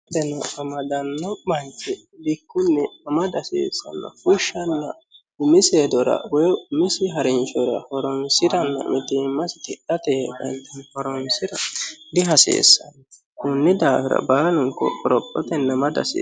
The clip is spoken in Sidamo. konne woxeno amadanno manchi bikkunni amada hasiissanno fushsha hasiissuha ikkiro umisi hedora woy umisi harinshora mitiimmasi tidhate yee horonsira dihasiissanno konni daafira baalunku qorophotenni amada hasiissanno.